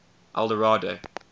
eldorado